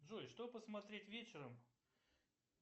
джой что посмотреть вечером